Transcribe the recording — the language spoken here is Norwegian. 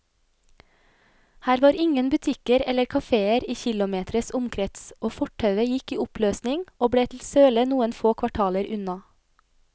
Her var ingen butikker eller kaféer i kilometres omkrets, og fortauet gikk i oppløsning og ble til søle noen få kvartaler unna.